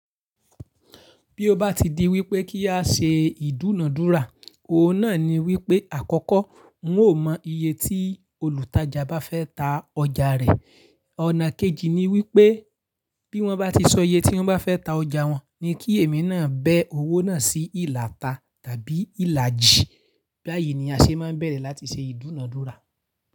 Bí ó bá ti di wípé kí á ṣe ìdúnadúrà, òun náà ni wípé àkọ́kọ́, n ó mọ iye tí olùtajà bá fẹ́ ta ọjà rẹ̀. Ọ̀nà kejì ni wípé bí wón bá ti sọ iye tí wón bá fẹ́ ta ọjà wọn, ni kí èmi náà bẹ owó náà sí ìlàta tàbí ìlàjì. Báyìí ni a ṣe máa ń bẹ̀rẹ̀ láti ṣe ìdúnadúrà.